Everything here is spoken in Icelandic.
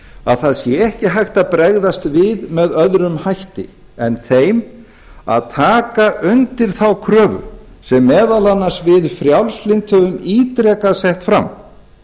að það sé ekki hægt að bregðast við með öðrum hætti en þeim að taka undir þá kröfu sem meðal annars við frjálslynd höfum ítrekað sett fram